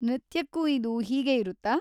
ನೃತ್ಯಕ್ಕೂ ಇದು ಹೀಗೆ ಇರುತ್ತಾ?